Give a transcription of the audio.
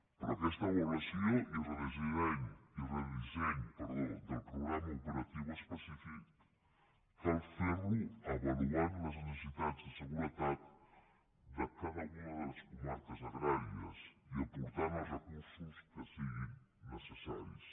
però aquesta avaluació i el redisseny del programa ope ratiu específic cal fer los avaluant les necessitats de seguretat de cada una de les comarques agràries i apor tant els recursos que siguin necessaris